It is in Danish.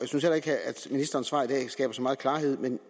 synes heller ikke at ministerens svar i dag skaber så meget klarhed men